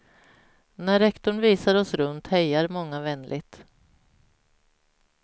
När rektorn visar oss runt hejar många vänligt.